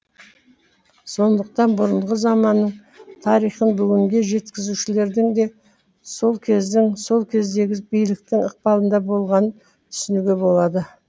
сондықтан бұрынғы заманның тарихын бүгінге жеткізушілердің де сол кездің сол кездегі биліктің ықпалында болғанын түсінуге болады